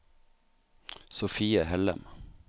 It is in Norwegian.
Sophie Hellem